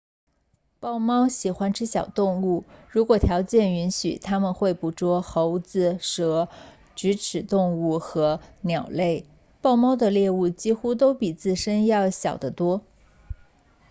豹猫喜欢吃小动物如果条件允许他们会捕捉猴子蛇啮齿动物和鸟类豹猫的猎物几乎都比自身要小得多